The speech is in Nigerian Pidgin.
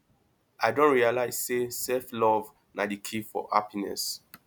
i don realize say selflove na di key for happiness